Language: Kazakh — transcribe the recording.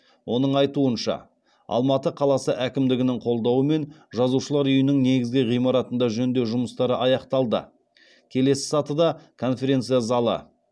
оның айтуынша алматы қаласы әкімдігінің қолдауымен жазушылар үйінің негізгі ғимаратында жөндеу жұмыстары аяқталды келесі сатыда конференция залы